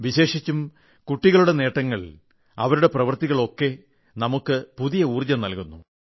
വിശേഷിച്ചും കുട്ടികളുടെ നേട്ടങ്ങൾ അവരൂടെ പ്രവൃത്തികൾ ഒക്കെ നമുക്ക് പുതിയ ഊർജം നൽകുന്നു